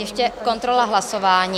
Ještě kontrola hlasování.